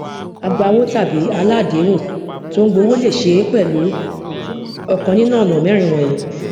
agbawó tàbí aláàdéhùn tó ń gba owó lè ṣe é pẹlú ọkàn nínú ọnà mẹrin wọnyìí